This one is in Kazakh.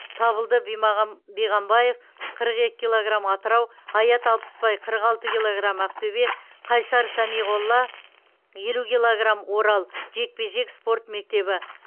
табылды биғамбаев қырық екі килограмм атырау аят алпысбай қырық алты килограм ақтөбе қайсар самиғолла елу килограм орал жекпе жек спорт мектебі